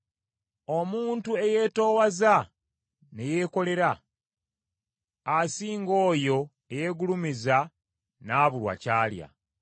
Omuntu eyeetoowaza ne yeekolera, asinga oyo eyeegulumiza n’abulwa ky’alya.